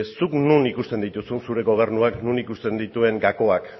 zuk non ikusten dituzun zure gobernuak non ikusten dituen gakoak